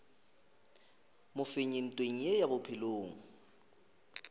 mofenyi ntweng ye ya bophelo